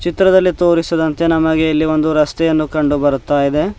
ಚಿತ್ರದಲ್ಲಿ ತೋರಿಸಿದಂತೆ ನಮಗೆ ಇಲ್ಲಿ ಒಂದು ರಸ್ತೆಯನ್ನು ಕಂಡು ಬರುತ್ತಾ ಇದೆ.